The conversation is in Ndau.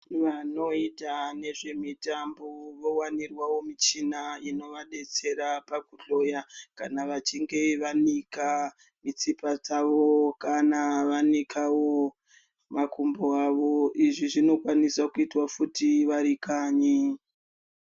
Vanoita nezvemitambo vowanirwaro michini inovadetsera pakuhloya kana vachinge vanika mitsipa dzavo, kana vanikawo makumbo avo izvi zviokwanisa kuitwa futi varikanyi.